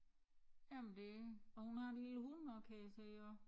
Jamen det og hun har en lille hund også kan jeg se også